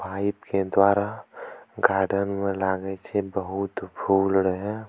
पाइप के द्वारा गार्डन में लागे छे बहुत फूल रहे।